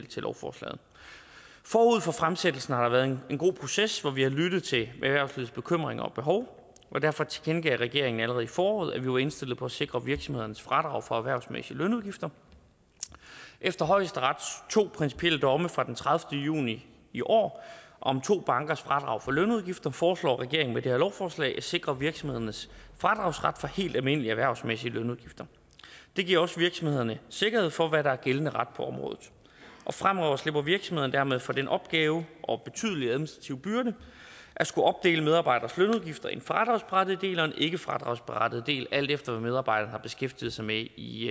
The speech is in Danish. til lovforslaget forud for fremsættelsen har der været en god proces hvor vi har lyttet til erhvervslivets bekymringer og behov og derfor tilkendegav regeringen allerede i foråret at vi var indstillet på at sikre virksomhedernes fradrag for erhvervsmæssige lønudgifter efter højesterets to principielle domme fra den tredivete juni i år om to bankers fradrag for lønudgifter foreslår regeringen med det her lovforslag at sikre virksomhedernes fradragsret for helt almindelige erhvervsmæssige lønudgifter det giver også virksomhederne sikkerhed for at vide hvad der er gældende ret på området fremover slipper virksomhederne dermed for den opgave og den betydelige administrative byrde at skulle opdele medarbejderes lønudgifter i en fradragsberettiget del og en ikkefradragsberettiget del alt efter hvad medarbejderne har beskæftiget sig med i